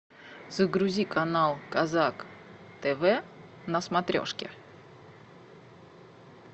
загрузи канал казак тв на смотрешке